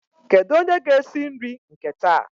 Kedu onye ga esi nri nke taa?